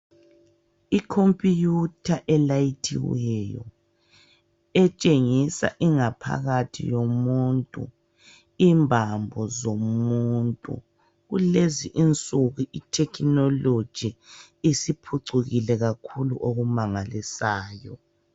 Ikhompuyutha elayithiweyo etshengisa ingaphakathi yomuntu imbambo zomuntu. Kulezinsuku ithekhinoloji isiphucukile kakhulu okumangalisayo.